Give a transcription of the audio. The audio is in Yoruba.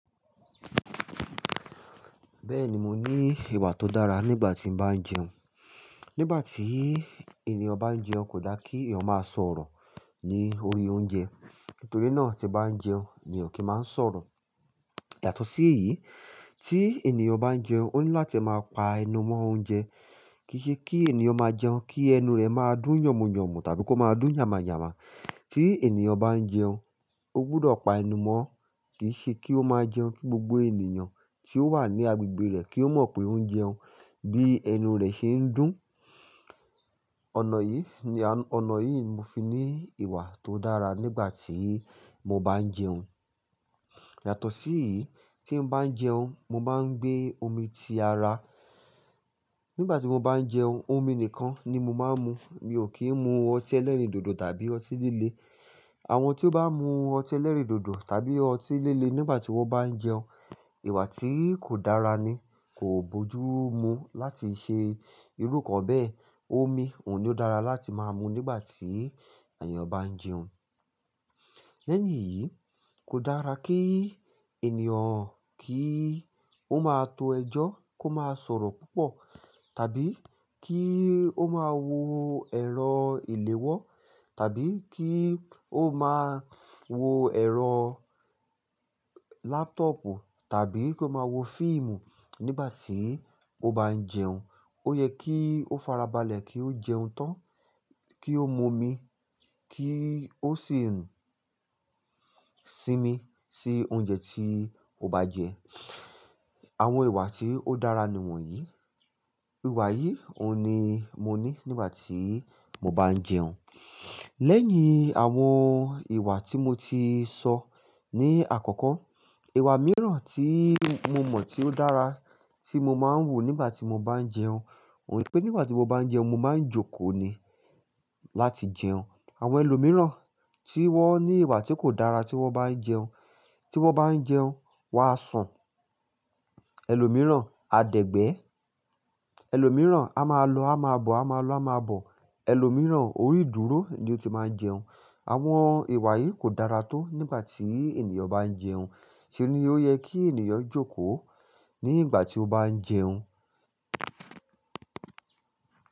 Bẹ́ẹ̀ni mo ní ìwà tó dára nígbà tí mo bá ń jẹun. Nígbà tí ènìyàn bá ń jẹun kò dá kí ènìyàn máa sọ̀rọ̀ ní orí oúnjẹ. Nítorí náà tí bá ń jẹun mi kì í máa ń sọ̀rọ̀. Yàtọ̀ sí èyí tí ènìyàn bá ń jẹun ó ní láti máa pa ẹnu mọ́ oúnjẹ. Kì í ṣe kí ènìyàn máa jẹun kí ẹnu rẹ̀ máa dún yànmúyànmú tàbí kó máa dún yàmàyàmà. Tí ènìyàn bá ń jẹun ó gbọdọ̀ pa ẹnu mọ́, kì í ṣe kí ó máa jẹun kí gbogbo ènìyàn tí ó wà ní agbègbè rẹ̀ kí ó mọ̀ pé ó ń jẹun bí ẹnu rẹ̀ ṣe ń dún. Ọ̀nà yìí, ọnà yìí ni mo fi ní ìwà tó dára nígbà tí mo bá ń jẹun. Yàtọ̀ sí èyí tí ń bá ń jẹun mo máa ń gbé omi ti ara. Nígbà tí mo bá ń jẹun omi nìkan ni mo máa ń mu. Mi ò kí ń mu ọtí ẹlẹ́rìndòdò tàbí ọtí líle. Àwọn tí ó bá mú ọtí ẹlẹ́rìndòdò tàbí ọtí líle nígbà tí wọ́n bá ń jẹun, ìwà tí kò dára ni. Kò bójú mu láti ṣe irú kan bẹ́ẹ̀. Omi òun ni ó dára láti máa mu nígbà tí ènìyàn bá ń jẹun. Lẹ́yìn e yìí kò dára kí ènìyàn kí ó máa to ẹjọ́ kó máa sọ̀rọ̀ púpọ̀ tàbí kí ó máa wo ẹ̀rọ ìléwọ́ tàbí kí ó máa wo ẹ̀rọ laptop tàbí kó máa wo fíìmù nígbà tí ó bá ń jẹun. Ó yẹ kí ó fara balẹ̀ kí ó jẹun tán, kí ó mu omi, kí ó sì ń sínmi sí oúnjẹ tí ó bá jẹ. Àwọn ìwà tí ó dára ni wọ̀nyí. Ìwà yìí òun ni mo ní nígbà tí mo bá ń jẹun. Lẹ́yìn àwọn ìwà tí mo ti sọ ní àkọ́kọ́, ìwà mìíràn tí mo mọ̀ tí ó dára tí mo máa ń wù nígbà tí mo bá ń jẹun òun pé nígbà tí mo bá ń jẹun mo máa ń jókòó ni láti jẹun. Àwọn ẹlòmíràn tí wọ́n ní ìwà tí kò dára tí wọ́n bá ń jẹun, tí wọ́n bá ń jẹun wá sàn. Ẹlòmíràn a dẹ̀gbẹ́, ẹlòmíràn a máa lọ a máa bọ̀, a máa lọ a máa bọ̀. Ẹlòmíràn orí ìdúró ni ó ti máa ń jẹun. Àwọn ìwà yìí kò dára tó nígbà tí ènìyàn bá ń jẹun. Ṣé ni ó yẹ kí ènìyàn jókòó nígbà tí ó bá ń jẹun?